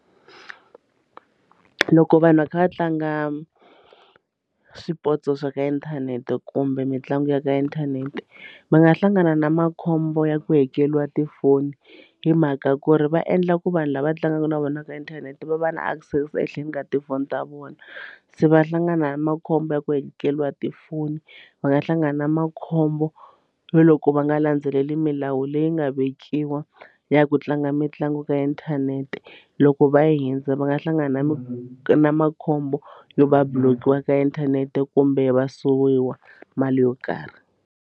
Loko vanhu va kha va tlanga swipotso swa ka inthanete kumbe mitlangu ya ka inthanete va nga hlangana na makhombo ya ku hekeriwa tifoni hi mhaka ku ri va endla ku vanhu lava tlangaka na vona ka inthanete va va na access ehenhleni ka tifoni ta vona se va hlangana na makhombo ya ku hekeriwa tifoni va nga hlangana na makhombo yo loko va nga landzeleli milawu leyi nga vekiwa ya ku tlanga mitlangu ka inthanete loko va hundza va nga hlangana na na makhombo yo va blockiwa ka inthanete kumbe va suwiwa mali yo karhi.